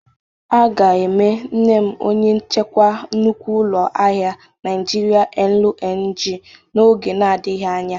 A ga-eme nne m onye nchikwa nnukwu ụlọ ahịa Nịajịrịa LNG n'oge na-adịghị anya.